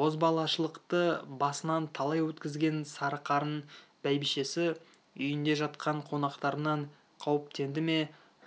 бозбалашылықты басынан талай өткізген сарықарын бәйбішесі үйінде жатқан қонақтарынан қауіптенді ме